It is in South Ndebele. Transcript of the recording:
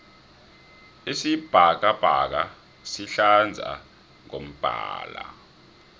isibhakabhaka sihlaza ngombala